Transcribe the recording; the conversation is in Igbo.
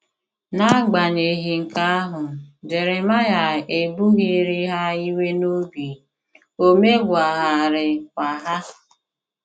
N’agbanyeghị nke ahụ, Jeremaịa ebughịrị ha iwe n’obi, o megwaraghịkwa ha.